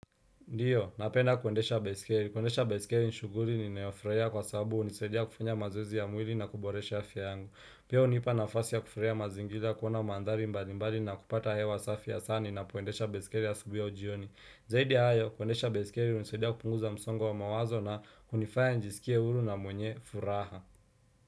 Ndio, napenda kuendesha baiskeli. Kuendesha baiskeli ni shuguli ninayofraia kwa sababu unisaidia kufanya mazoezi ya mwili na kuboresha afya yangu. Pia unipa nafasi ya kufreya mazingira kuona mandhari mbali mbali na kupata hewa safi hasa ninapoendesha baiskeli asubui au jioni. Zaidi ya hayo, kuendesha baiskeli unisaidia kupunguza msongo wa mawazo na unifaya nijiskie huru na mwenye furaha.